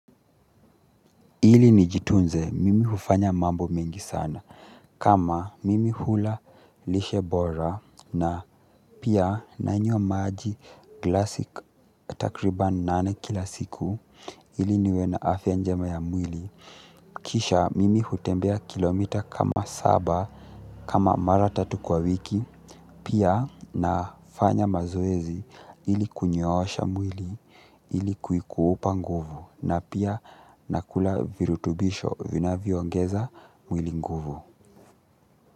Ili nijitunze, mimi hufanya mambo mengi sana. Kama mimi hula lishe bora na pia nanywa maji glasic takriban nane kila siku, ili niwe na afya njema ya mwili. Kisha mimi hutembea kilomita kama saba kama mara tatu kwa wiki. Pia nafanya mazoezi ili kunyoosha mwili ili kuikuupa nguvu. Na pia nakula virutubisho vinavyoongeza mwili nguvu.